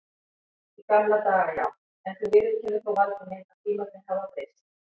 Í gamla daga já, en þú viðurkennir þó Valdi minn að tímarnir hafa breyst.